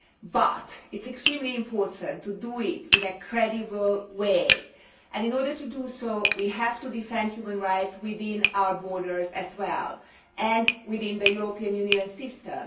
But it is extremely important to do it in a credible way and, in order to do so, we have to defend human rights within our borders as well, within the European Union system.